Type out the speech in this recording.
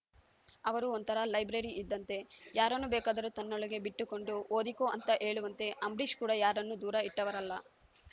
ಅವರು ಒಂಥರಾ ಲೈಬ್ರರಿ ಇದ್ದಂತೆ ಯಾರನ್ನು ಬೇಕಾದರೂ ತನ್ನೊಳಗೆ ಬಿಟ್ಟುಕೊಂಡು ಓದಿಕೋ ಅಂತ ಹೇಳುವಂತೆ ಅಂಬರೀಷ್‌ ಕೂಡ ಯಾರನ್ನೂ ದೂರ ಇಟ್ಟವರಲ್ಲ